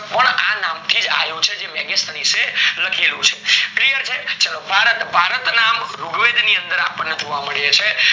આ નામ થીજ આયુ છે જે મેગેસની એ લખેલું છે clear છે ચાલો ભારત, ભારત નામ રૂગ વેદ ની અંદર આપણને જોવા મળે છે